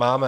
Máme.